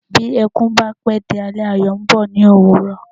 Bí ẹkún bá pé di alẹ́, ayọ̀ ń bọ̀ ní ÒWÚRỌ̀.